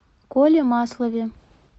коле маслове